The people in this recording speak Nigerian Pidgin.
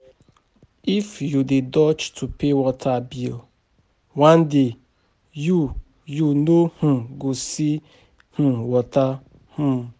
If you dey dodge to pay water bill, one day you you no[um] go see[um] water[um].